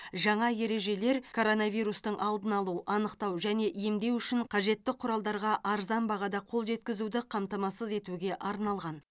жаңа ережелер коронавирустың алдын алу анықтау және емдеу үшін қажетті құралдарға арзан бағада қол жеткізуді қамтамасыз етуге арналған